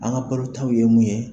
An ka balotaw ye mun